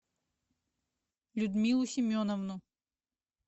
людмилу семеновну